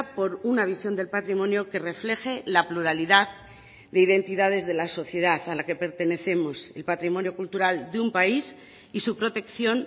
por una visión del patrimonio que refleje la pluralidad de identidades de la sociedad a la que pertenecemos el patrimonio cultural de un país y su protección